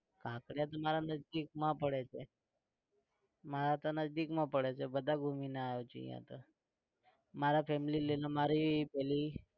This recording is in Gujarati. કાંકરિયા તો મારા નજદીકમાં પડે છે મારા તો નજદીકમાં પડે છે બધા ઘુમીને આવ્યો છું ત્યાં તો મારા family લઈને મારી પેલી